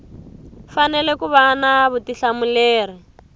fanele ku va na vutihlamuleri